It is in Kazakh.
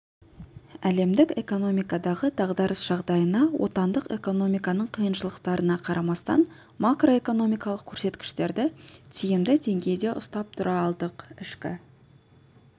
әлемдік экономикадағы дағдарыс жағдайына отандық экономиканың қиыншылықтарына қарамастан макроэкономикалық көрсеткіштерді тиімді деңгейде ұстап тұра алдық ішкі